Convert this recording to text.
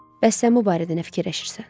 Bəs sən bu barədə nə fikirləşirsən?